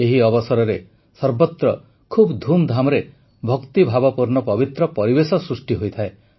ଏହି ଅବସରରେ ସର୍ବତ୍ର ଖୁବ୍ ଧୁମ୍ଧାମ୍ରେ ଭକ୍ତିଭାବପୂର୍ଣ୍ଣ ପବିତ୍ର ପରିବେଶ ସୃଷ୍ଟି ହୋଇଥାଏ